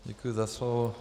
Děkuji za slovo.